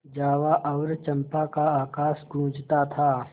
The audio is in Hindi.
जावा और चंपा का आकाश गँूजता था